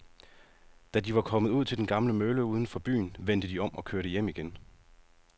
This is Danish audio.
Da de var kommet ud til den gamle mølle uden for byen, vendte de om og kørte hjem igen.